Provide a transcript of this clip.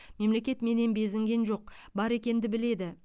мемлекет менен безінген жоқ бар екенді біледі